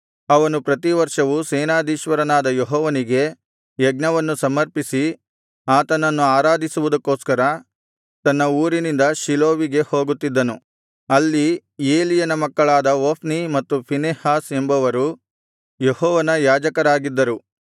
ಅವನು ಪ್ರತಿವರ್ಷವೂ ಸೇನಾಧೀಶ್ವರನಾದ ಯೆಹೋವನಿಗೆ ಯಜ್ಞವನ್ನು ಸಮರ್ಪಿಸಿ ಆತನನ್ನು ಆರಾಧಿಸುವುದಕ್ಕೋಸ್ಕರ ತನ್ನ ಊರಿನಿಂದ ಶೀಲೋವಿಗೆ ಹೋಗುತ್ತಿದ್ದನು ಅಲ್ಲಿ ಏಲಿಯನ ಮಕ್ಕಳಾದ ಹೊಫ್ನಿ ಮತ್ತು ಫೀನೆಹಾಸ್ ಎಂಬವರು ಯೆಹೋವನ ಯಾಜಕರಾಗಿದ್ದರು